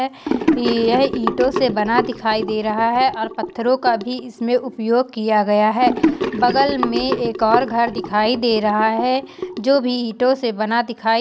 यह ईंटो से बना दिखाई दे रहा है और पत्थरो का भी इसमें उपयोग किया गया है बगल मे एक और घर दिखाई दे रहा है जो भी ईंटो से बना दिखाई--